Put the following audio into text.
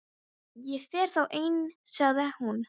Ég fer þá ein- sagði hún.